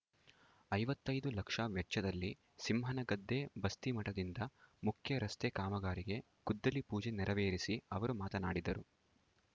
ಐವತೈದು ಲಕ್ಷ ವೆಚ್ಚದಲ್ಲಿ ಸಿಂಹನಗದ್ದೆ ಬಸ್ತಿಮಠದಿಂದ ಮುಖ್ಯ ರಸ್ತೆ ಕಾಮಗಾರಿಗೆ ಗುದ್ದಲಿ ಪೂಜೆ ನೆರವೇರಿಸಿ ಅವರು ಮಾತನಾಡಿದರು